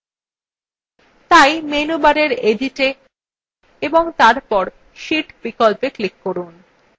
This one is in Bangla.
তাই menu bar editwe এবং তারপর sheet বিকল্পে click করুন